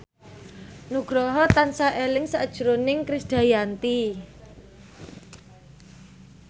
Nugroho tansah eling sakjroning Krisdayanti